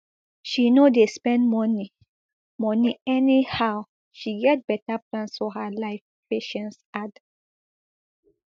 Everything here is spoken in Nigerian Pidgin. she no dey spend money money anyhow she get beta plans for her life patience add